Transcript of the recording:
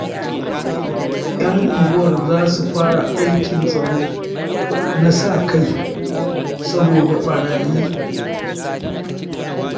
Yan unguwar za su fara aikin tsaro na sa-kai saboda ɓarayi